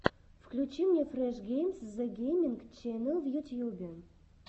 включи мне фреш геймс зэ гейминг ченел в ютьюбе